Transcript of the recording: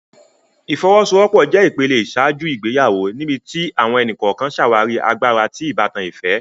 Ifowosowopo jé ìpele iṣaaju ìgbéyàwó níbití àwọn ẹni-kọọkan ṣàwarí àgbàrá ti ìbátan ìfẹ